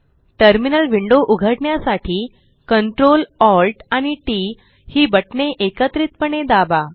terminal window उघडण्यासाठी Ctrl Alt आणि TT ही बटणे एकत्रितपणे दाबा